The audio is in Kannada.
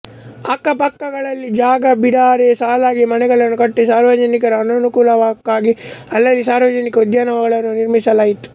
ಅಕ್ಕಪಕ್ಕಗಳಲ್ಲಿ ಜಾಗ ಬಿಡದೆ ಸಾಲಾಗಿ ಮನೆಗಳನ್ನು ಕಟ್ಟಿ ಸಾರ್ವಜನಿಕರ ಅನುಕೂಲಕ್ಕಾಗಿ ಅಲ್ಲಲ್ಲಿ ಸಾರ್ವಜನಿಕ ಉದ್ಯಾನಗಳನ್ನು ನಿರ್ಮಿಸಲಾಯಿತು